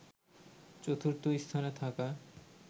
চতুর্থ স্থানে থাকা